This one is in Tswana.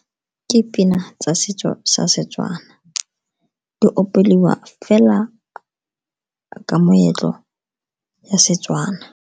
Ke pina tsa setso sa Setswana, di opelwa fela ka moetlo ya Setswana.